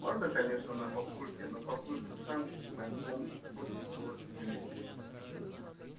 можно конечно на папульке но папулька сам на ком хочешь злость выместит